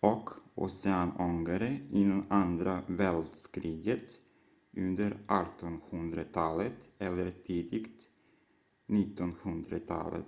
och oceanångare innan andra världskriget under 1800-talet eller tidigt 1900-tal